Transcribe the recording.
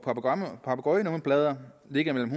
papegøjenummerplader ligger mellem